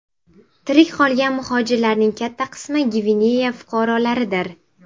Tirik qolgan muhojirlarning katta qismi Gvineya fuqarolaridir.